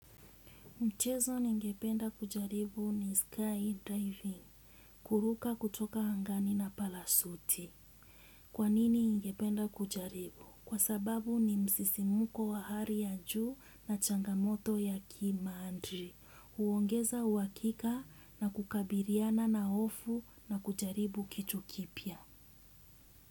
Mchezo ningependa kujaribu ni skydiving, kuruka kutoka hangani na palasuti. Kwanini ningependa kujaribu? Kwa sababu ni msisimuko wa hari ya juu na changamoto ya kimandri. Huongeza uhakika na kukabiriana na hofu na kujaribu kitu kipya.